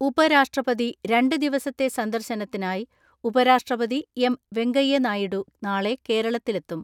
ഉപരാഷ്ട്രപതി രണ്ട് ദിവസത്തെ സന്ദർശനത്തിനായി ഉപരാഷ്ട്രപതി എം.വെങ്കയ്യനായിഡു നാളെ കേരളത്തിലെത്തും.